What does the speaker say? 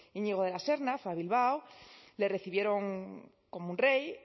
íñigo de la serna fue a bilbao le recibieron como un rey